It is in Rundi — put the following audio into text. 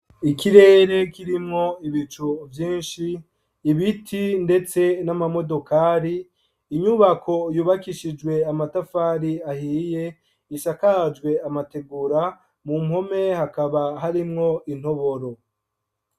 Ikirere kirimwo ibicu vyinshi, ibiti ndetse n'amamodokari, inyubako yubakishijwe amatafari ahiye, zisakajwe amategura, mu mpome hakaba harimwo intoboro.